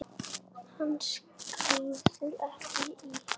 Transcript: Hún skríður fram í.